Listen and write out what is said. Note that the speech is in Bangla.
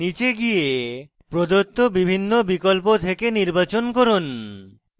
নীচে গিয়ে প্রদত্ত বিভিন্ন বিকল্প থেকে নির্বাচন করুন